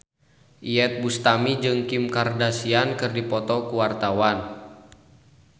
Iyeth Bustami jeung Kim Kardashian keur dipoto ku wartawan